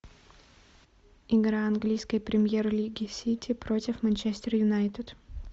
игра английской премьер лиги сити против манчестер юнайтед